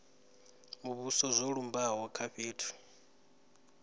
muvhuso zwo lumbaho kha fhethu